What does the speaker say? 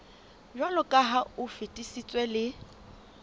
jwaloka ha o fetisitswe le